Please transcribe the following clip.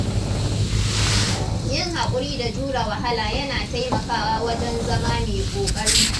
Yin hakuri da jure wahala yana taimakawa wajen zama mai ƙoƙari.